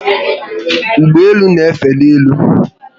Ụgbọelu n'efe n'elu